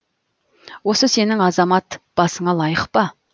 осы сенің азамат басыңа лайық па